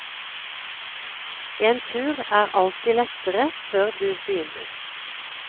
En tur er alltid lettere før du begynner.